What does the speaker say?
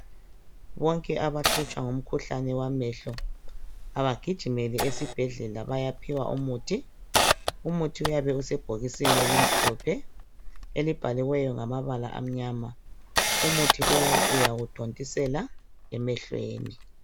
Bonke abahlutshwa ngemkhuhlane wamehlo abagijimele esibhedlela bayaphiwa umuthi. Umuthi uyabe usebhokisini elimhlophe elibhaliweyo ngamabala amnyama. Umuthi lowu uyawuthontisela emehlweni.